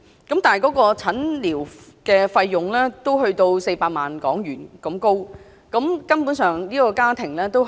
但是，診療費要400萬港元，他的家庭根本負擔不來。